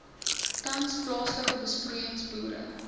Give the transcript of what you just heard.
tans plaaslike besproeiingsboere